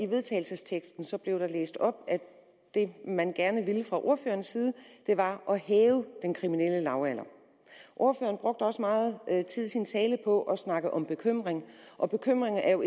vedtagelse som blev læst op at det man gerne ville fra ordførerens side var at hæve den kriminelle lavalder ordføreren brugte også meget tid i sin tale på at snakke om bekymring og bekymring er jo